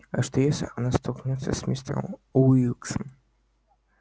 а что если она столкнётся с мистером уилксом